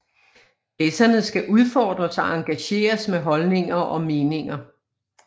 Læserne skal udfordres og engageres med holdninger og meninger